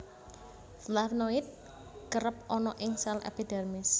Flavnoid kerep ana ing sel epidermis